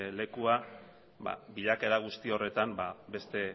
lekua bilakaera guzti horretan beste